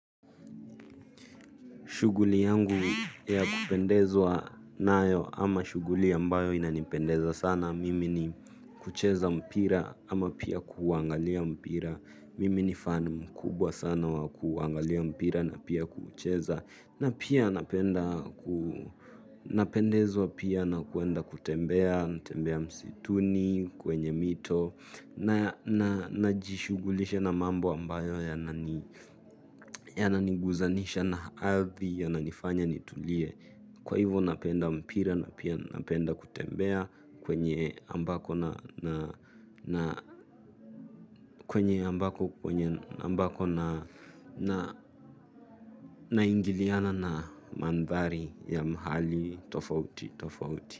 Shughuli yangu ya kupendezwa nayo ama shughuli ambayo inanipendeza sana. Mimi ni kucheza mpira ama pia kuuangalia mpira. Mimi ni fan mkubwa sana wa kuuangalia mpira na pia kuucheza. Na pia napenda napendezwa pia na kwenda kutembea natembea msituni kwenye mito na na najishughulisha na mambo ambayo yananiguzanisha na ardhi yananifanya nitulie kwa hivo napenda mpira na pia napenda kutembea kwenye ambako na ingiliana na mandhari ya mahali tofauti.